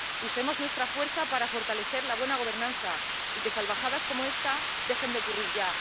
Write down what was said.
Usemos nuestra fuerza para fortalecer la buena gobernanza y que salvajadas como esta dejen de ocurrir ya.